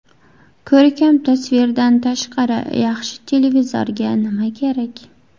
Ko‘rkam tasvirdan tashqari yaxshi televizorga nima kerak?